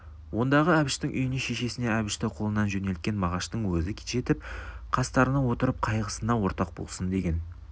ондағы әбіштің үйіне шешесіне әбішті қолынан жөнелткен мағаштың өзі жетіп қастарына отырып қайғысына ортақ болсын деген